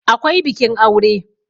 akwai bikin aure